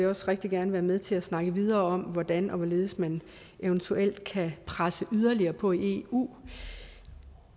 også rigtig gerne være med til at snakke videre om hvordan og hvorledes man eventuelt kan presse yderligere på i eu